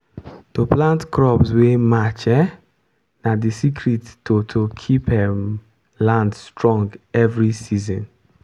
to plant crops wey match um na the secret to to keep um land strong every season.